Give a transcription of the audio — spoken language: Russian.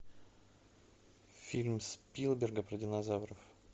фильм спилберга про динозавров